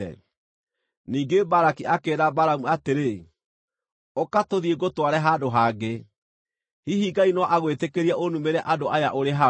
Ningĩ Balaki akĩĩra Balamu atĩrĩ, “Ũka tũthiĩ ngũtware handũ hangĩ. Hihi Ngai no agwĩtĩkĩrie ũnumĩre andũ aya ũrĩ hau.”